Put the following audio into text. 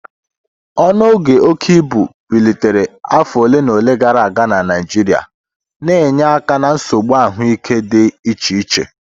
Ọnụọgụ oke ibu bilitere afọ ole na ole gara aga na Naijiria, na-enye aka na nsogbu ahụike dị iche iche.